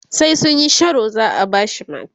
sai sunyi Sharo za'a bashi mata